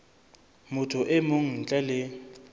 motho e mong ntle le